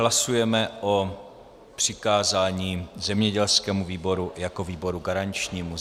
Hlasujeme o přikázání zemědělskému výboru jako výboru garančnímu.